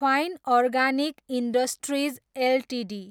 fine Organic Industries Ltd